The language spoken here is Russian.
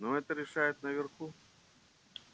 ну это решают наверху